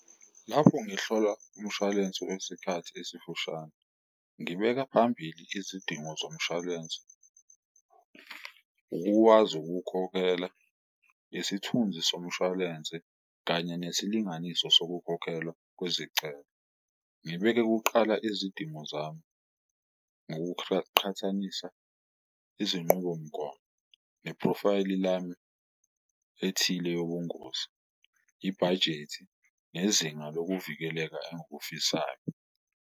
Lapho ngihlola umshwalensi wesikhathi esifushane ngibeka phambili izidingo zomshwalensi, ukuwazi ukuwukhokhela nesithunzi somshwalense kanye nesilinganiso sokukhokhelwa kwezicelo. Ngibeke kuqala izidingo zami ngokuqhathanisa izinqubomgomo, neprofayili lami ethile yobungozi, ibhajethi nezinga lokuvikeleka engikufisayo